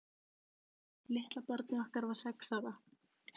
Litla barnið okkar var sex ára.